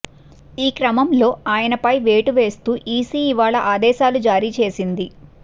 ఈక్రమంలో ఆయనపై వేటు వేస్తూ ఈసీ ఇవాళ ఆదేశాలు జారీ చేసింది